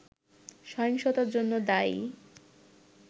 সহিংসতার জন্য দায়ী